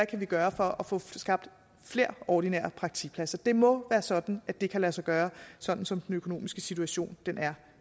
kan gøre for at få skabt flere ordinære praktikpladser det må være sådan at det kan lade sig gøre sådan som den økonomiske situation er